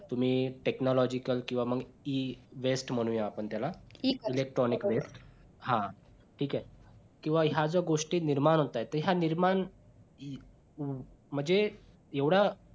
तुम्ही technological किंवा मग कि Ewaist म्हणूया आपण त्याला electronic waste हा ठीक आहे किंवा ह्या ज्या गोष्टी निर्माण होत आहेत तर या निर्माण म्हणजे एवढं